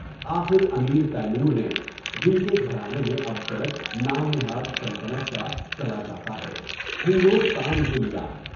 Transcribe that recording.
آخر Amir Timur نے (جن کے گھرانے میں اب تلک نام نہاد سلطنت کا چلا جاتا ہے) ہندوستان کو لیا۔